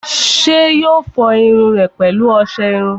ṣé yóò fọ irun rẹ̀ pẹ̀lú ọsẹ iru?